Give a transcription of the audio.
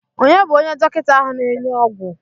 Onye bụ onye dọkịta ahụ na-enye ogwu?